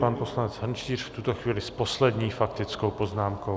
Pan poslanec Hrnčíř v tuto chvíli s poslední faktickou poznámkou.